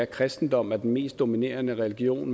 kristendommen er den mest dominerende religion